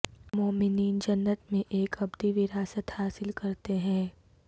مومنین جنت میں ایک ابدی وراثت حاصل کرتے ہیں